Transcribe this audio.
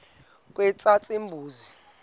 katshazimpuzi